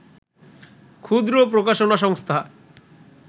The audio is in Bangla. ক্ষুদ্র প্রকাশনা সংস্থা